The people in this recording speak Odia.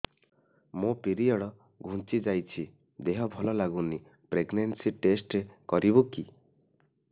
ମୋ ପିରିଅଡ଼ ଘୁଞ୍ଚି ଯାଇଛି ଦେହ ଭଲ ଲାଗୁନି ପ୍ରେଗ୍ନନ୍ସି ଟେଷ୍ଟ କରିବୁ କି